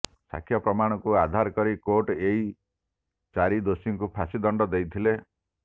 ସାକ୍ଷ୍ୟ ପ୍ରମାଣକୁ ଆଧାର କରି କୋର୍ଟ ଏହୀ ଚାରି ଦୋଷୀଙ୍କୁ ଫାଶୀ ଦଣ୍ଡାଦେଶ ଦେଇଥିଲେ